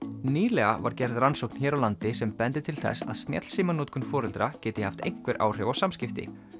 nýlega var gerð rannsókn hér á landi sem bendir til þess að snjallsímanotkun foreldra geti haft einhver áhrif á samskipti